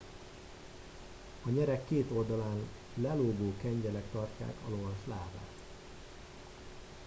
a nyereg két oldalán lelógó kengyelek tartják a lovas lábát